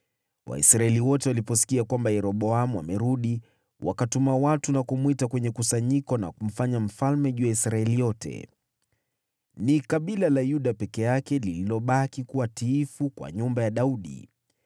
Waisraeli wote waliposikia kwamba Yeroboamu amerudi, wakatuma watu na kumwita kwenye kusanyiko na kumfanya mfalme juu ya Israeli yote. Ni kabila la Yuda peke yake lililobaki kuwa tiifu kwa nyumba ya Daudi.